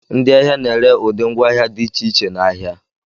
Ndị ahịa na-ere ụdị ngwaahịa dị iche iche n'ahịa